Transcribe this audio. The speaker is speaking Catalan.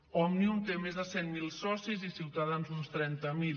òmnium té més de cent mil socis i ciutadans uns trenta mil